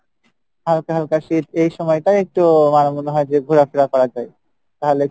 হালকা হালকা শীত এই সময় টাও একটু আমার মনে হয় যে ঘোরা ফেরা করা যাই, তাহলে